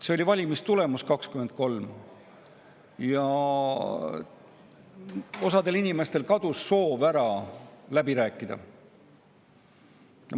See oli valimistulemus 2023, mille tõttu osal inimestel kadus soov läbi rääkida.